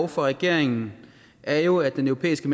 fra regeringen er jo at den europæiske